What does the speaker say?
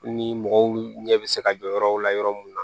Ni mɔgɔw ɲɛ bɛ se ka jɔ yɔrɔw la yɔrɔ mun na